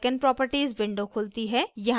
icons properties window खुलती है